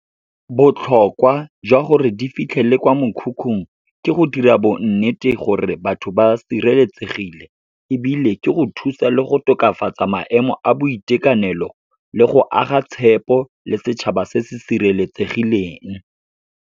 Botlhokwa jwa gore di fitlhele kwa mokhukhung, ke go dira bo nnete gore batho ba sireletsegile, ebile ke go thusa le go tokafatsa maemo a boitekanelo, le go aga tshepo le setšhaba se se sireletsegileng.